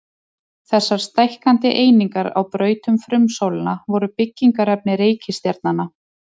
Þessar stækkandi einingar á braut um frumsólina voru byggingarefni reikistjarnanna.